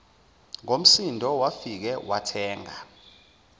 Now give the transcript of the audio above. ngomsindo wafike wathenga